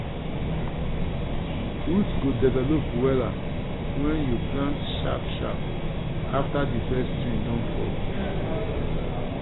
root go develop wella wen you plant sharp sharp afta di first rain don fall.